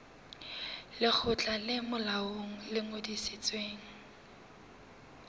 lekgotla le molaong le ngodisitsweng